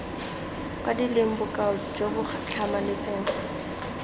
kwadilweng bokao jo bo tlhamaletseng